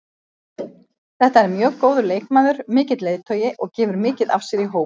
Þetta er mjög góður leikmaður, mikill leiðtogi og gefur mikið af sér í hóp.